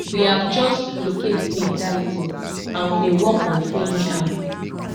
we have just locate speed darlington and we dey work on freeing am